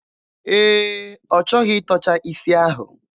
Ee, ọ chọghị ịtọcha isi ahụ.